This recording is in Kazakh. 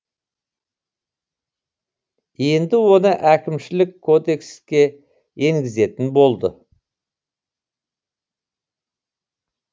енді оны әкімшілік кодекске енгізетін болды